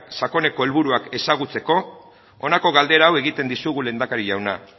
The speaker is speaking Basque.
sakoneko helburuak ezagutzeko honako galdera hau egiten dizugu lehendakari jauna